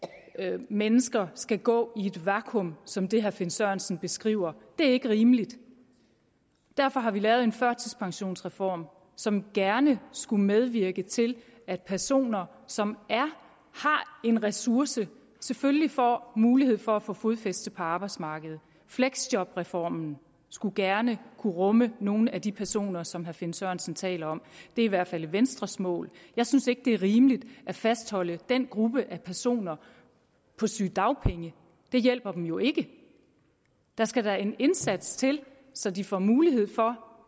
at mennesker skal gå i et vakuum som det herre finn sørensen beskriver det er ikke rimeligt derfor har vi lavet en førtidspensionsreform som gerne skulle medvirke til at personer som har en ressource selvfølgelig får mulighed for at få fodfæste på arbejdsmarkedet fleksjobreformen skulle gerne kunne rumme nogle af de personer som herre finn sørensen taler om det er i hvert fald venstres mål jeg synes ikke at det er rimeligt at fastholde den gruppe af personer på sygedagpenge det hjælper dem jo ikke der skal da en indsats til så de får mulighed for